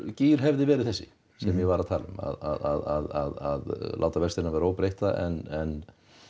gír hefði verið þessi sem ég var að tala um að láta vextina vera óbreytta en